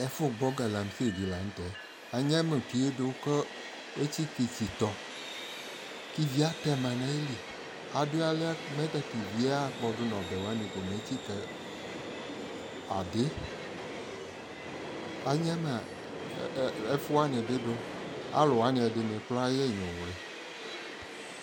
ɛƒʋ gbɔ galamsey di lantɛ, anyama ʋtiɛ dʋ kʋ ɛtsika itsitɔ kʋ ivi atɛma nʋ ayili, adi awlia mʋ tatʋ iviɛ akpɔdʋ nʋ ɔbɛ wani kɔ mɛ ɛtsika adii, anyama ɛƒʋ wani bidʋ, alʋwani kʋraa ya inyʋwli